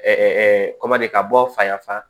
kɔmadikaw fa y'a fa